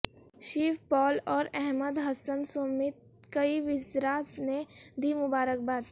شیو پال اور احمد حسن سمیت کئی وزراء نے د ی مبارک باد